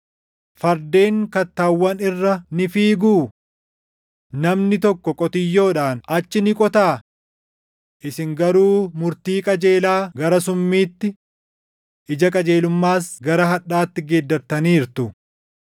Fardeen kattaawwan irra ni fiiguu? Namni tokko qotiyyoodhaan achi ni qotaa? Isin garuu murtii qajeelaa gara summiitti, ija qajeelummaas gara hadhaatti geeddartaniirtu;